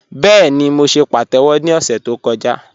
Bẹẹ̀ni, mó ṣè pàtẹ́wọ̀ ni ọ̀ṣẹ̀ tó kọ̀jà